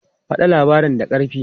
Faɗa labarin da ƙarfi!